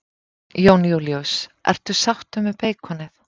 Jón Júlíus: Ertu sáttur með beikonið?